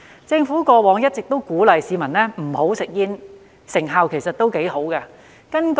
政府過往一直鼓勵市民不要吸煙，成效其實也不錯。